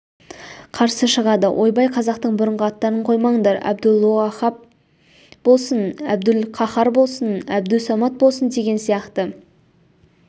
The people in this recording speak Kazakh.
қарсы шығады ойбай қазақтың бұрынғы аттарын қоймаңдар әбдулуаһап болсын әбдулқаһар болсын әбдусамат болсын деген сияқты